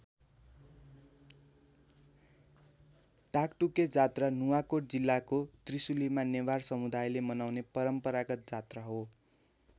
टाकटुके जात्रा नुवाकोट जिल्लाको त्रिशुलीका नेवार समुदायले मनाउने परम्परागत जात्रा हो।